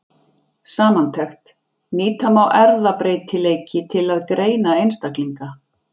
Samantekt: Nýta má erfðabreytileiki til að greina einstaklinga.